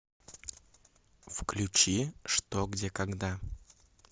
включи что где когда